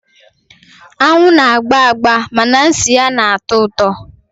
Anwụ na-agba agba mana nsị ha na-atọ ụtọ.